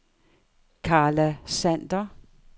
Karla Sander